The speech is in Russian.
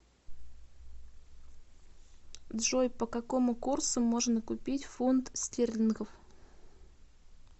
джой по какому курсу можно купить фунт стерлингов